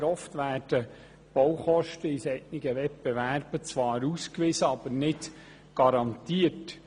Sehr oft werden die Baukosten in solchen Wettbewerben zwar ausgewiesen, aber nicht garantiert.